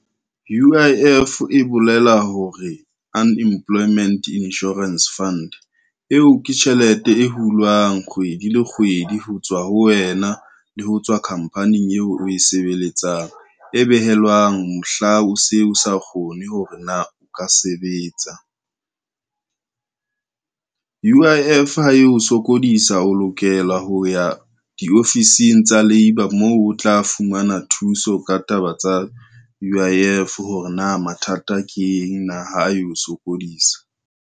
U_I_F e bolela hore unemployment insurance fund, eo ke tjhelete e hulwang kgwedi le kgwedi ho tswa ho wena le ho tswa khampaning eo o e sebeletsang, e behelwang mohla o se o sa kgone hore na i ka sebetsa. U_I_F ha e o sokodisa o lokela ho ya diofising tsa labour, moo o tla fumana thuso ka taba tsa U_I_F hore na mathata ke eng na ha eo sokodisa.